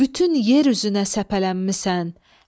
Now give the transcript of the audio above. Bütün yer üzünə səpələnmisən.